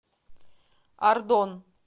ардон